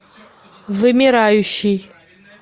вымирающий